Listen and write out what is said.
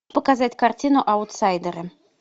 показать картину аутсайдеры